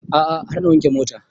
A'a har na wanke mota